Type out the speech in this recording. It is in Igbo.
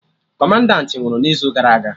Kọmanda nwụrụ n'izu gara aga